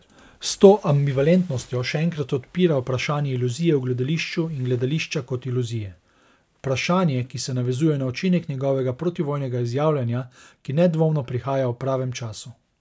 S to ambivalentnostjo še enkrat odpira vprašanje iluzije v gledališču in gledališča kot iluzije, vprašanje, ki se navezuje na učinek njegovega protivojnega izjavljanja, ki nedvomno prihaja v pravem času.